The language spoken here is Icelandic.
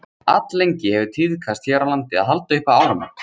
Alllengi hefur tíðkast hér á landi að halda upp á áramót.